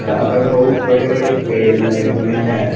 यहां पर बहुत बड़े बड़े पेड़ लगे हुएं हैं।